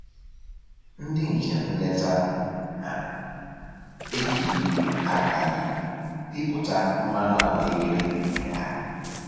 Ndị njem nleta na-eji igwe aka anyị pịpụta mmanụ ahụekere nke ha